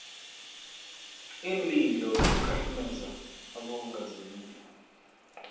iinlilo nokukhahlumeza abongazimbi